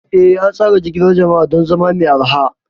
Eh, an tsara jigilar jama'a don zama mai arha.